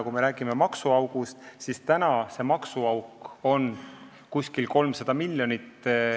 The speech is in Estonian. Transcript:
Kui me räägime maksuaugust, siis see maksuauk on umbes 300 miljonit.